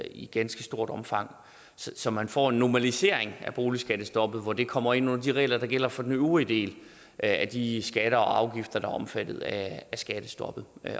i ganske stort omfang så man får en normalisering af boligskattestoppet hvor det kommer ind under de regler der gælder for den øvrige del af de skatter og afgifter der er omfattet af skattestoppet